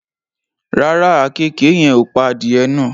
Rárá, àkekèé yen ò pa adìẹ náà